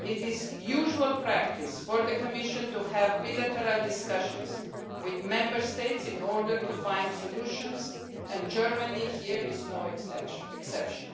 It is usual practice for the Commission to have bilateral discussions with Member States in order to find solutions and Germany is no exception